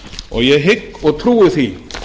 og ég hygg og trúi því